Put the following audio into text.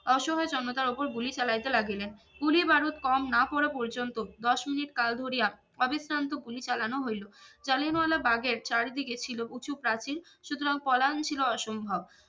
অসহায় জনতার ওপর গুলি চালাইতে লাগিলেন গুলি বারুদ কম না পড়া পর্যন্ত দশ মিনিট কাল ধরিয়া অবিশ্রান্ত গুলি চালানো হইলো জালিয়ানওয়ালাবাগের চারিদিকে ছিলো উচু প্রাচীর সুতরাং পলান ছিল অসম্ভব